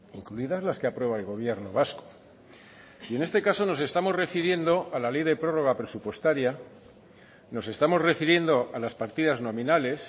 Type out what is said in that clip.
incluidas las que aprueba el gobierno vasco y en este caso nos estamos refiriendo a la ley de prórroga presupuestaria nos estamos refiriendo a las partidas nominales